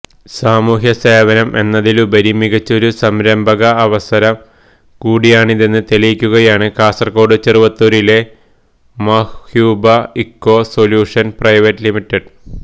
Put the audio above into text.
സാമൂഹ്യ സേവനം എന്നതിലുപരി മികച്ചൊരു സംരംഭക അവസരം കൂടിയാണിതെന്ന് തെളിയിക്കുകയാണ് കാസര്കോട് ചെറുവത്തൂരിലെ Mahyuba eco solutions private limited